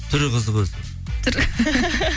түрі қызық өзі түрі